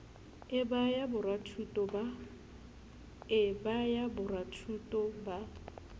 e ba ya borathuto ba